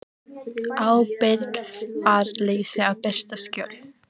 Ábyrgðarleysi að birta skjöl